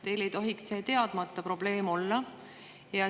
Teile ei tohiks see teadmata probleem olla.